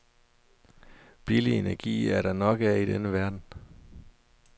Billig energi er der nok af i denne verden.